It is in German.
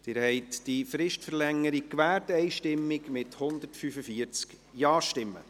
Sie haben diese Fristverlängerung einstimmig gewährt, mit 145 Ja-Stimmen.